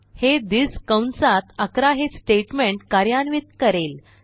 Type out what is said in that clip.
हे थिस कंसात 11 हे स्टेटमेंट कार्यान्वित करेल